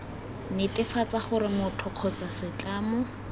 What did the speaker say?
netefatsa gore motho kgotsa setlamo